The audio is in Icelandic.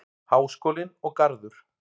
Háskólinn og Garður.